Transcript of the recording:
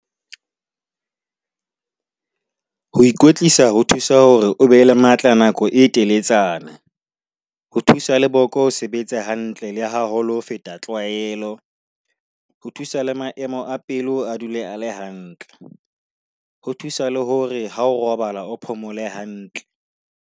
Ho ikwetlisa ho thusa hore o be le matla nako e teletsana, ho thusa le boko ho sebetsa hantle le haholo ho feta tlwaelo. Ho thusa le maemo a pelo a dule a le hantle. Ho thusa le hore ha o robala o phomole hantle.